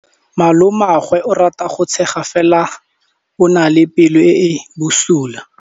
Malomagwe o rata go tshega fela o na le pelo e e bosula.